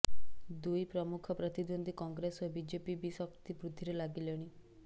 ଦୁଇ ପ୍ରମୁଖ ପ୍ରତିଦ୍ୱନ୍ଦ୍ୱୀ କଂଗ୍ରେସ ଓ ବିଜେପି ବି ଶକ୍ତି ବୃଦ୍ଧିରେ ଲାଗିଲେଣି